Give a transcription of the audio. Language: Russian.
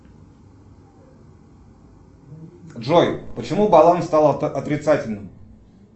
джой почему баланс стал отрицательным